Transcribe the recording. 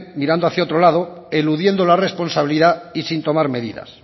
mirando hacia otro lado eludiendo la responsabilidad y sin tomar medidas